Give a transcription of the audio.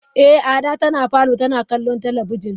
Eh Ada tana parlour tana kallon talabijin.